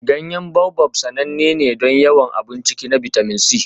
Ganyen Baobab sananne ne don yawan abun ciki na bitamin C.